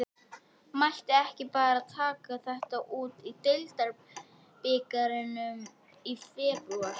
Mætti ekki bara taka þetta út í deildarbikarnum í febrúar?